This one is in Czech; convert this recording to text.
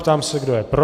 Ptám se, kdo je pro.